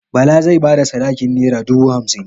Bala zai ba da sadakin nera dubu hamsin.